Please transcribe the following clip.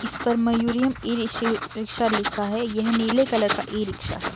इस पर मयूरियम ई रिश रिक्शा लिखा है। यह नीले कलर का ई-रिक्शा है |